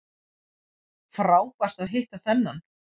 Frábært að hitta þennan